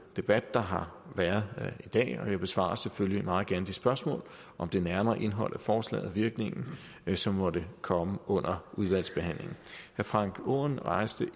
debat der har været i dag og jeg besvarer selvfølgelig meget gerne de spørgsmål om det nærmere indhold af forslaget virkningen som måtte komme under udvalgsbehandlingen herre frank aaen rejste